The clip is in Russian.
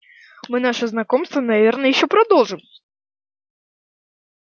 мы наше знакомство наверное ещё продолжим